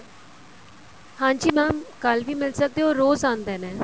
ਹਾਂਜੀ mam ਕੱਲ ਵੀ ਮਿਲ ਸਕਦੇ ਏ ਉਹ ਰੋਜ਼ ਆਉਦੇ ਨੇ